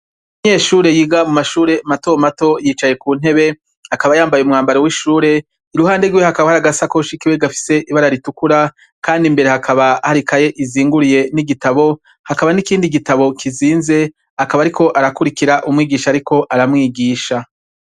Abanyeshure biga mumashure matomato yicaye kuntebe akaba yambaye umwambaro wishure iruhande rwe hakaba hari agasakoshi gafise ibara ritukura kandi imbere hakaba hari ikaye izinguruye nigitabo hakaba nikindi gitabo kizinze akaba ariko arakwirikira umwigisha ariko aramwigisha